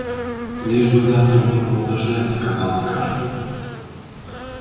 лишь бы завтра не было дождя сказал скарлетт